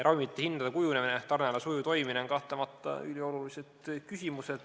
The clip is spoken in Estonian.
Ravimite hindade kujunemine ja tarneala sujuv toimimine on kahtlemata üliolulised küsimused.